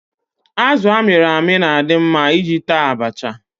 Azụ amịrị amị na-adị mma iji taa abacha.